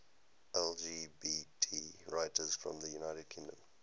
lgbt writers from the united kingdom